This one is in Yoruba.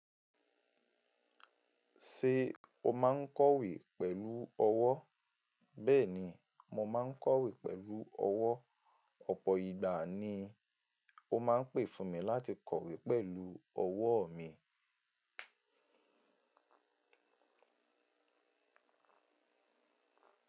Ṣé o máa ń kọ̀wé pẹ̀lú ọwọ́? Bẹ́ẹ̀ni, mo máa ń kọ̀wé pẹ̀lú ọwọ́. Ọ̀pọ̀ ìgbà ni ó máa ń pè fún mi láti kọ̀wé pẹ̀lú ọwọ́ mi.